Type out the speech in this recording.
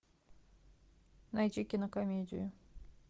найди кинокомедию